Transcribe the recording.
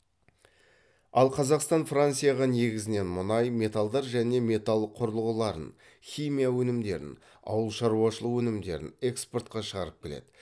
ал қазақстан францияға негізінен мұнай металдар және металл құрылғыларын химия өнімдерін ауыл шаруашылық өнімдерін экспортқа шығарып келеді